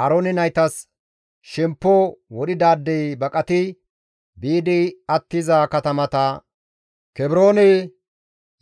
Aaroone naytas shemppo wodhidaadey baqati biidi attiza katamata, Kebroone,